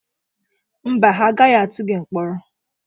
Mba, ha agaghị atụ gị mkpọrọ.